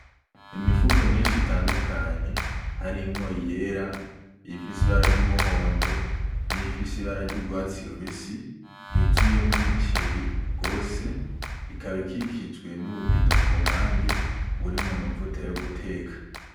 Imifuko myinshi itandukanye harimwo iyera, iyifise ibara ry'umuhondo, niy'ifise ibara ry'urwatsi rubisi yuzuyemwo imiceri gose ikaba ikikijwe n'ububido kumpande burimwo amavuta yo guteka.